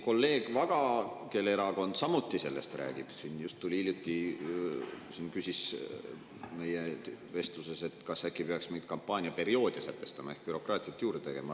Kolleeg Vaga, kelle erakond samuti sellest räägib, just hiljuti küsis siin meie vestluses, et kas äkki peaksime kampaaniaperioode sätestama ehk bürokraatiat juurde tegema.